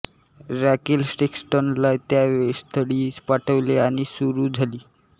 Raquel सेक्स्टनला त्या स्थळी पाठवले आणि सुरू झाली